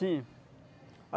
Sim.